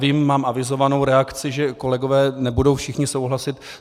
Vím, mám avizovanou reakci, že kolegové nebudou všichni souhlasit.